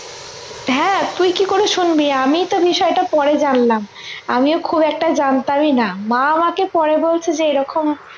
হ্যাঁ তুই কি করে শুনবি আমি তো বিষয়টা পরে জানলাম আমিও খুব একটা জানতামই না মা আমাকে পরে বলছে যে এরকম